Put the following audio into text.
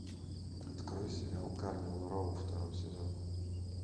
открой сериал карнивал роу второй сезон